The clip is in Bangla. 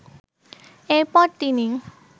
এরপর তিনি